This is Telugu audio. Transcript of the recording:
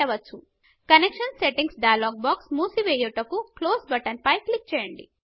కనెక్షన్ Settingsకనెక్షన్ సెట్టింగ్స్ డైలాగ్ బాక్స్ మూసి వెయ్యుటకు క్లోజ్ బటన్ పై క్లిక్ చేయండి